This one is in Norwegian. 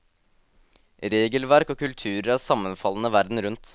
Regelverk og kulturer er sammenfallende verden rundt.